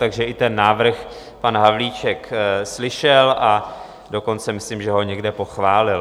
Takže i ten návrh pan Havlíček slyšel, a dokonce myslím, že i někde pochválil.